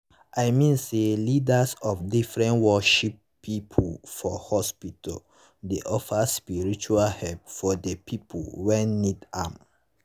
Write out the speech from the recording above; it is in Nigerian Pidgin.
i mean say leadas of different worship pipu for hospita dey offer spiritau helep for de pipu wen need am